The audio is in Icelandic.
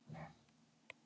Reykjavík, Vaka.